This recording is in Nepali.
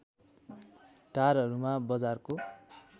टारहरूमा बजारको